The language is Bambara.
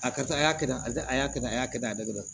A karisa a y'a kɛ tan a y'a kɛ tan a y'a kɛ tan a da dɔrɔn